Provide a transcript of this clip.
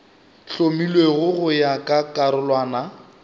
hlomilwego go ya ka karolwana